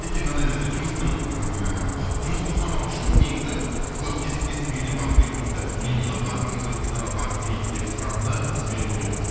өйткені мынандай нәрсе жұмыстың ыыы жұмыс тоқтамауы үшін негізі олар кезектесіп үйіне барып келуі керек те мхм олар барлығымыз өзбекстанға барып келейік деп сұранды біз жіберген жоқпыз